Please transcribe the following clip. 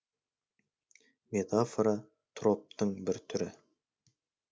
метафора троптың бір түрі